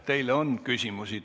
Teile on küsimusi.